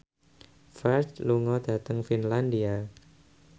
Ferdge lunga dhateng Finlandia